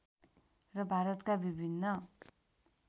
र भारतका विभिन्न